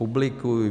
Publikují.